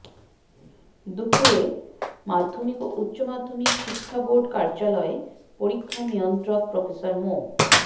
দুপুরে মাধ্যমিক ও উচ্চ মাধ্যমিক শিক্ষা বোর্ড কার্যালয়ে পরীক্ষা নিয়ন্ত্রক প্রফেসর মো